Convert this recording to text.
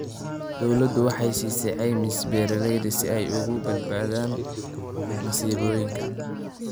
Dawladdu waxay siisaa caymis beeralayda si ay uga badbaadaan masiibooyinka.